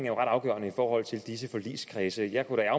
er ret afgørende i forhold til disse forligskredse jeg kunne da